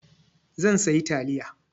Zan sayi taliya.